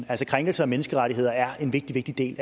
altså krænkelser af menneskerettigheder er en vigtig vigtig